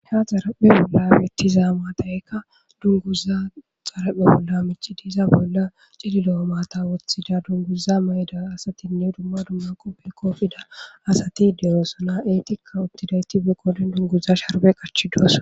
ha xaraphe bolla bettiza maadaykka dunguza xaraphe bolla mich diiza bolla cililo7o maata woththida dunguza mayda asatinne dumma dumma quppe koofida asati deyoosona eetikka uttidayti be kooden dunguza sharbe qachidosa